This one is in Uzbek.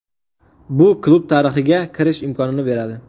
Bu klub tarixiga kirish imkonini beradi.